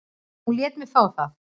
Hún lét mig fá það.